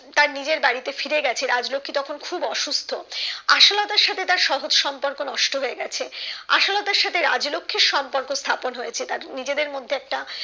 তার নিজের বাড়িতে ফিরেগেছে রাজলক্ষী তখন খুব অসুস্থ আশালতার সাথে তার সহজ সম্পর্ক নষ্ট হয়ে গেছে আশালতার সাথে রাজলক্ষীর সম্পর্ক স্থাপন হয়েছে তাদের নিজেদের মধ্যে একটা